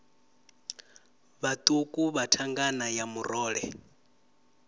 vhaṱuku vha thangana ya murole